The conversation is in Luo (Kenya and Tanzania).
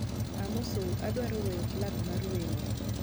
Amosou, adwaro weyo plag mar wemo